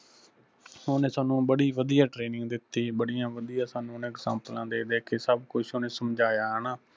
ਉਹਨੇ ਸਾਨੂੰ ਬੜੀ ਵੱਧੀਆ TRAINING, ਬੜੀਆਂ ਵੱਧੀਆ ਸਾਨੂੰ ਉਹਨੇ EXAMPLES ਦੇ ਦੇ ਕੇ ਸੱਭ ਕੁੱਝ ਉਹਨੇ ਸਮਝਾਇਆ ਹੈਣਾ।